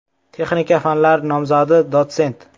Texnika fanlari nomzodi, dotsent.